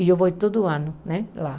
E eu vou todo ano né lá.